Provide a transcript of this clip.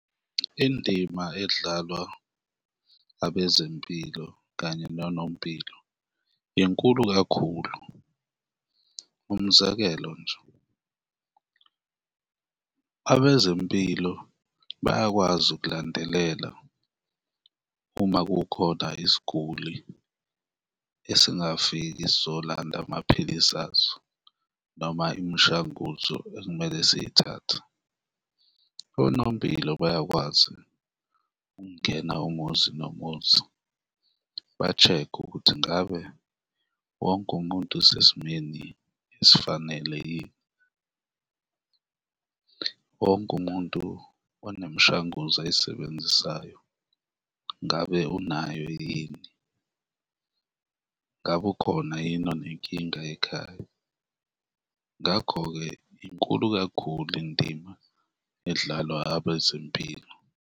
Indima edlalwa abezempilo kanye nonompilo inkulu kakhulu, umzekelo nje, abezempilo bayakwazi ukulandelela uma kukhona isiguli esingafiki sizolanda amaphilisi aso noma imishanguzo ekumele siyithathe. Onompilo bayakwazi ukungena umuzi nomuzi ba-check-e ukuthi ngabe wonke umuntu usesimeni esifanele yini, wonke umuntu one mishanguzo ayisebenzisayo ngabe unayo yini? Ngabe ukhona yini onenkinga ekhaya? Ngakho-ke inkulu kakhulu indima edlalwa abezempilo.